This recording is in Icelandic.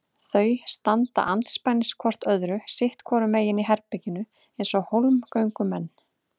Þau standa andspænis hvort öðru sitt hvoru megin í herberginu eins og hólmgöngumenn.